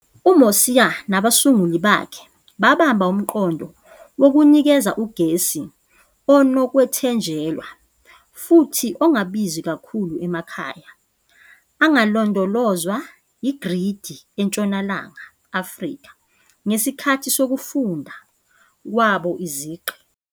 UMosia nabasunguli bakhe babamba umqondo wokunikeza ugesi onokwethenjelwa futhi ongabizi kakhulu emakhaya angalondolozwa igridi eNtshonalanga Afrika, ngesikhathi sokufunda kwabo iziqu.